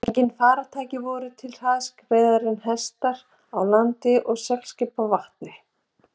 Engin farartæki voru til hraðskreiðari en hestar á landi og seglskip á vatni.